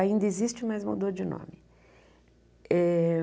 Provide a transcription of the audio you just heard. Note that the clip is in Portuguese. Ainda existe, mas mudou de nome. Eh